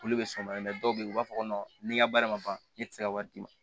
Olu bɛ soba dɔw bɛ yen u b'a fɔ ko ni n ka baara ma ban ne tɛ se ka wari d'i ma